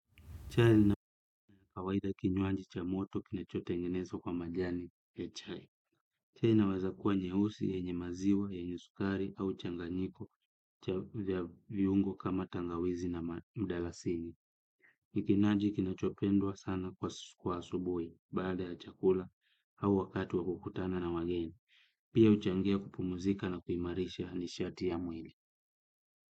Chai na kawaida kinywaji cha moto kinacho tengenezwa kwa majani ya chai. Chai inawezakuwa nyeusi yenye maziwa yenyesukari au changanyiko ya viungo kama tangawizi na mdalasini. Nikinaji kinachopendwa sana kwa asubui baada ya chakula au wakatu wa kukutana na wageni. Pia uchangia kupumuzika na kuimarisha nishati ya mwili.